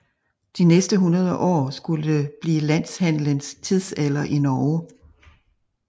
De næste hundrede år skulle blive Landhandelens tidsalder i Norge